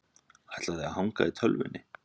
Ætla þau að hanga í tölvunni?